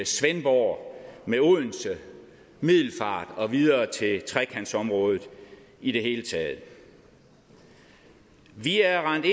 svendborg med odense middelfart og videre til trekantområdet i det hele taget vi er rendt